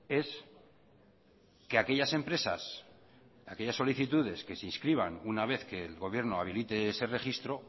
es que aquellas empresas aquellas solicitudes que se inscriban una vez que el gobierno habilite ese registro